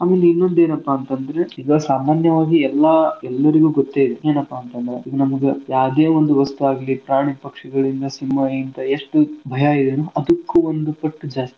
ಆಮೇಲೆ ಇನ್ನೊಂದೇನಪಾ ಅಂತಂದ್ರೆ ಈಗ ಸಾಮಾನ್ಯವಾಗಿ ಎಲ್ಲಾ ಎಲ್ಲರ್ಗೂ ಗೊತ್ತೇಯಿದೆ ಏನಪಾ ಅಂತಂದ್ರೆ ಇದ್ ನಮಗ ಯಾವ್ದೇ ಒಂದು ವಸ್ತುವಾಗ್ಲಿ ಪ್ರಾಣಿ ಪಕ್ಷಿಗಳಿಂದ ಸಿಂಹಾಯಿಂತ ಎಷ್ಟು ಭಯಯಿದೆ ಅದಕ್ಕೂ ಒಂದು ಪಟ್ಟು ಜಾಸ್ತಿ.